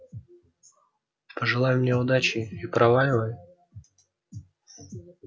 пожелай мне удачи и проваливай